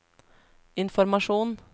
informasjon